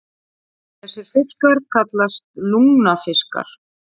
Þessir fiskar kallast lungnafiskar.